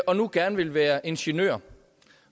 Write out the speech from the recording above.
og nu gerne vil være ingeniør